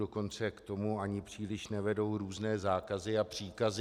Dokonce k tomu ani příliš nevedou různé zákazy a příkazy.